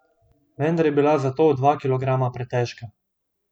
Vendar je bila za to dva kilograma pretežka.